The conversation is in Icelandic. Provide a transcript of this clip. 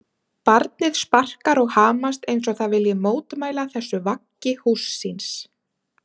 Barnið sparkar og hamast eins og það vilji mótmæla þessu vaggi húss síns.